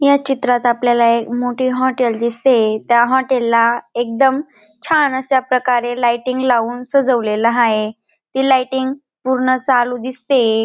या चित्रात आपल्याला एक मोठे हॉटेल दिसतेय. त्या हॉटेल ला एकदम छान अश्या प्रकारे लाईटिग लाऊन सजवलेल हाय. ती लाईटिंग पूर्ण चालू दिसतेय.